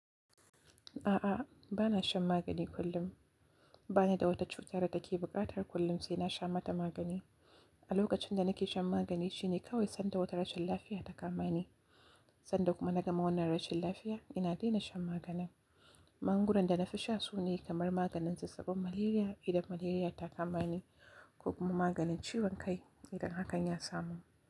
A'a, ba na shan magani kullum. Ba ni da wata cutar da take buƙatar kullum sai na sha mata magani. A lokacin da nake shan magani shine kawai sanda wata rashin lafiya ta kama ni. Sanda kuma na gama wannan rashin lafiya, ina daina shan maganin. Magungunan da na fi sha sune kamar maganin zazzaɓin malaria idan malaria ta kama ni ko kuma maganin ciwon kai idan hakan ya samu.